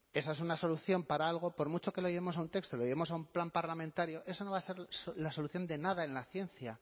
esa es una solución para algo por mucho que lo llevemos a un texto o lo llevemos a un plan parlamentario eso no va a ser la solución de nada en la ciencia